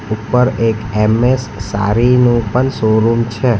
ઉપર એક એમ_એસ સારી નું પણ શોરૂમ છે.